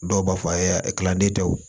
Dɔw b'a fɔ kilanden tɛ wo